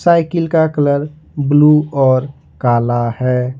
Cycle का colour blue और काला है।